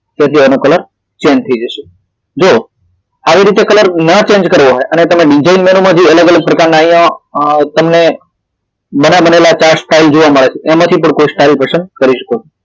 તો જે આનો કલર change થઈ જાશે જો આવી રીતે કલર ન change કરવો હોય અને જો બીજા એંગલ માં તમે અલગ અલગ પ્રકાર ના અહિયાં અ તમને બની બનેલા chart style જોવા મળે છે એમાંથી પણ કોષ્ટકો પસંદ કરી શકો છો